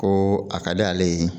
Ko a ka d'ale ye